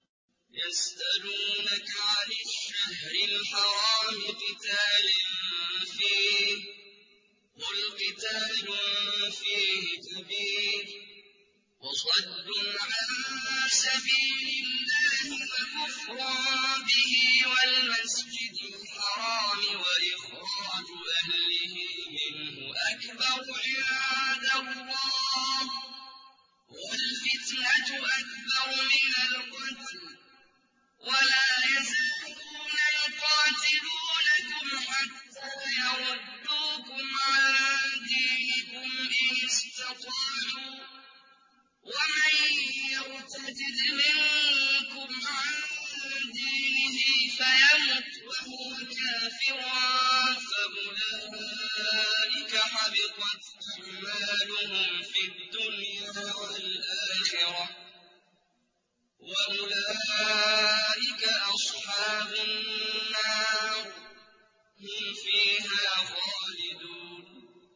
يَسْأَلُونَكَ عَنِ الشَّهْرِ الْحَرَامِ قِتَالٍ فِيهِ ۖ قُلْ قِتَالٌ فِيهِ كَبِيرٌ ۖ وَصَدٌّ عَن سَبِيلِ اللَّهِ وَكُفْرٌ بِهِ وَالْمَسْجِدِ الْحَرَامِ وَإِخْرَاجُ أَهْلِهِ مِنْهُ أَكْبَرُ عِندَ اللَّهِ ۚ وَالْفِتْنَةُ أَكْبَرُ مِنَ الْقَتْلِ ۗ وَلَا يَزَالُونَ يُقَاتِلُونَكُمْ حَتَّىٰ يَرُدُّوكُمْ عَن دِينِكُمْ إِنِ اسْتَطَاعُوا ۚ وَمَن يَرْتَدِدْ مِنكُمْ عَن دِينِهِ فَيَمُتْ وَهُوَ كَافِرٌ فَأُولَٰئِكَ حَبِطَتْ أَعْمَالُهُمْ فِي الدُّنْيَا وَالْآخِرَةِ ۖ وَأُولَٰئِكَ أَصْحَابُ النَّارِ ۖ هُمْ فِيهَا خَالِدُونَ